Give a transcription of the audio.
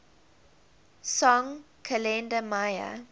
song kalenda maya